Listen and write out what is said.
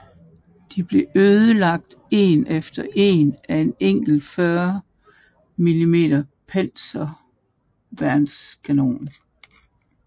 De blev ødelagt en efter en af en enkelt 40 mm panserværnskanon